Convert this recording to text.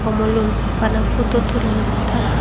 Mollun bana photo tullonde tara.